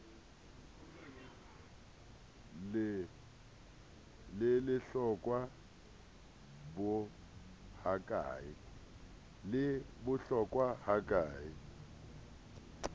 le lehlokwa bo ha ke